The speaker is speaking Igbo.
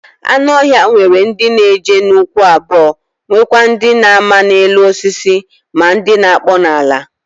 Anu ohia nwere ndi n'eje n'ukwu abuo nwekwa ndi n'ama n'elu osisi ma ndi na-akpo n'ala.